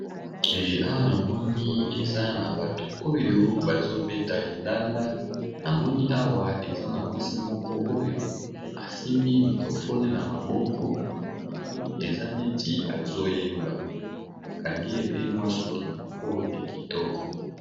Awa na moni eza na bato oyo bazobeta lindanda na moni awa eza na mwasi moko oyo asimbi microfone na maboko namoni eza neti azoyemba bakangi ye pe mwa suki moko ya kitoko.